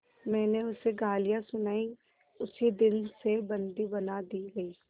मैंने उसे गालियाँ सुनाई उसी दिन से बंदी बना दी गई